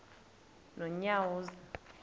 nonyawoza